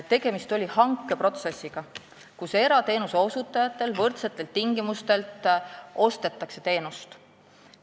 Tegemist oli hankeprotsessiga, kus erateenuse osutajatelt võrdsetel tingimustel ostetakse teenust.